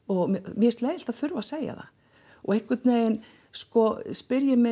mér finnst leiðinlegt að þurfa að segja það og einhvern veginn spyr ég mig